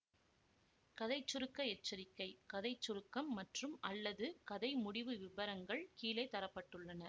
கதை சுருக்க எச்சரிக்கை கதை சுருக்கம் மற்றும்அல்லது கதை முடிவு விவரங்கள் கீழே தர பட்டுள்ளன